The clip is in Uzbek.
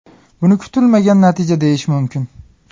Buni kutilmagan natija deyish mumkin.